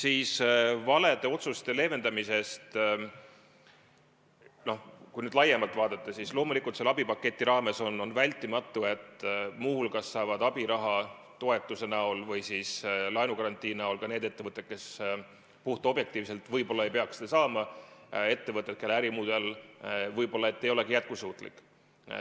Mis puutub valede otsuste mõju leevendamisse, siis kui laiemalt vaadata, siis selle abipaketi puhul on vältimatu, et muu hulgas saavad abiraha toetuse näol või siis laenugarantii näol ka need ettevõtted, kes puhtobjektiivselt võib-olla ei peaks seda saama – need on ettevõtted, kelle ärimudel võib-olla ei olegi jätkusuutlik.